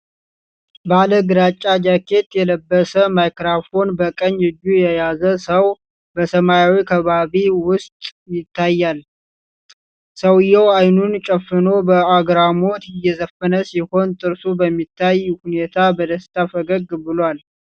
ባለግራጫ ጃኬት የለበሰ፣ ማይክሮፎን በቀኝ እጁ የያዘ ሰው በሰማያዊ ከባቢ ውስጥ ይታያል፡፡ ሰውየው ዓይኑን ጨፍኖ በአግራሞት እየዘፈነ ሲሆን፣ ጥርሱ በሚታይ ሁኔታ በደስታ ፈገግ ብሏል፡፡